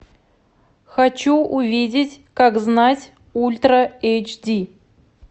хочу увидеть как знать ультра эйч ди